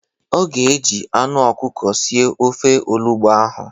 Ọ ga-eji anụ ọkụkọ sie ofe olugbo ahụ.